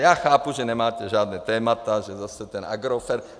Já chápu, že nemáte žádná témata, že zase ten Agrofert.